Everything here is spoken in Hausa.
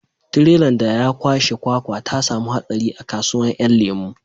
Tirelan da ya kwashe kwakwa ta samu hatsari a kasuwan 'yan lemo